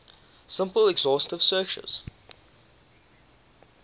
simple exhaustive searches